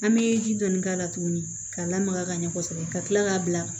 An bɛ ji dɔɔni k'a la tuguni ka lamaga ka ɲɛ kosɛbɛ ka kila k'a bila